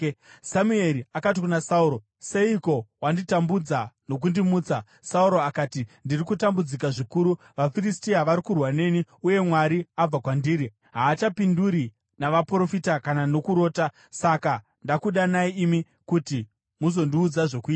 Samueri akati kuna Sauro, “Seiko wanditambudza nokundimutsa?” Sauro akati, “Ndiri kutambudzika zvikuru. VaFiristia vari kurwa neni, uye Mwari abva kwandiri. Haachandipinduri, navaprofita kana nokurota. Saka ndakudanai imi kuti muzondiudza zvokuita.”